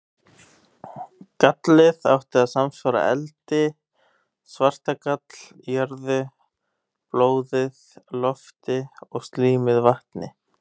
Gallið átti að samsvara eldi, svartagall jörðu, blóðið lofti og slímið vatni.